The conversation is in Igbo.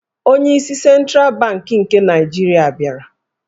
Onyeisi Sentral Bankị nke Naijirịa bịara.